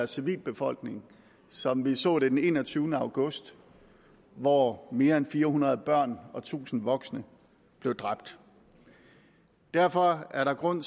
civilbefolkning som vi så det den enogtyvende august hvor mere end fire hundrede børn og tusind voksne blev dræbt derfor er der grund